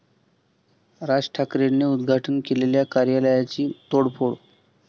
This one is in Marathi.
राज ठाकरेंनी उद्घाटन केलेल्या कार्यालयाची तोडफोड